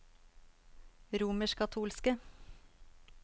romerskkatolske